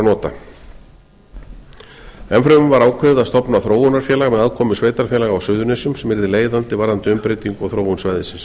nota enn fremur var ákveðið að stofna þróunarfélag með aðkomu sveitarfélaga á suðurnesjum sem yrði leiðandi varðandi umbreytingu á þróun svæðisins